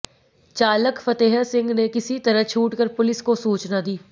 चालक फतेह सिंह ने किसी तरह छूट कर पुलिस को सूचना दी